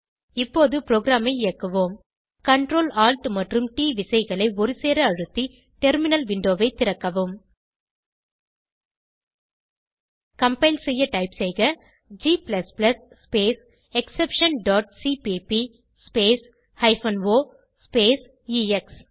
இப்போது ப்ரோக்ராமை இயக்குவோம் Ctrl Alt மற்றும் ட் விசைககளை ஒருசேர அழுத்தி டெர்மினல் விண்டோவை திறக்கவும் கம்பைல் செய்ய டைப் செய்க g space exception dot CPP space hyphen o space X